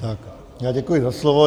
Tak já děkuji za slovo.